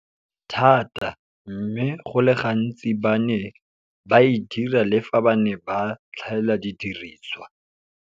Thata, mme go le gantsi ba ne ba e dira le fa ba ne ba tlhaela didirisiwa.